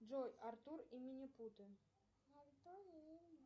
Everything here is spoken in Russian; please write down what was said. джой артур и минипуты